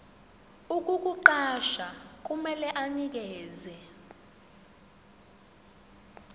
ukukuqasha kumele anikeze